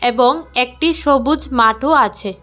এবং একটি সবুজ মাঠও আছে।